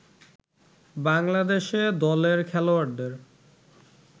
বাংলাদেশে দলের খেলোয়াড়দের